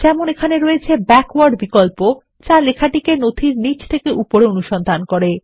যেমন এখানে রয়েছে ব্যাকওয়ার্ড বিকল্প যা লেখাটিকে নথির নীচ থেকে উপরে অনুসন্ধান করে